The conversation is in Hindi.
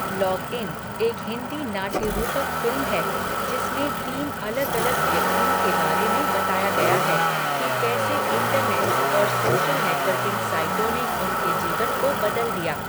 लॉगइन एक हिंदी नाट्यरूपक फ़िल्म है, जिसमें तीन अलग अलग व्यक्तियों के बारे में बताया गया है कि कैसे इंटरनेट और सोशल नेटवर्किंग साइटों ने उनके जीवन को बदल दिया।